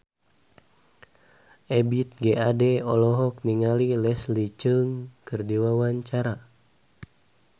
Ebith G. Ade olohok ningali Leslie Cheung keur diwawancara